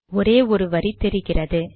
ஒரே ஒரு வரி தெரிகிறது